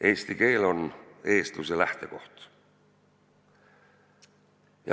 Eesti keel on eestluse lähtekoht.